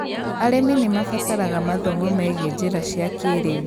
Arĩmi nĩ mabataraga mathomo megie njĩra cia kĩĩrĩu.